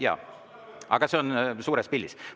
Jaa, aga see on suures pildis.